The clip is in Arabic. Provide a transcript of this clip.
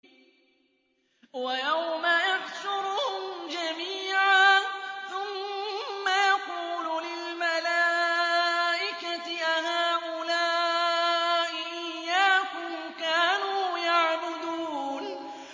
وَيَوْمَ يَحْشُرُهُمْ جَمِيعًا ثُمَّ يَقُولُ لِلْمَلَائِكَةِ أَهَٰؤُلَاءِ إِيَّاكُمْ كَانُوا يَعْبُدُونَ